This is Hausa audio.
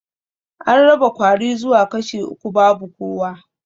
An raba kwari zuwa kashi uku babu kowa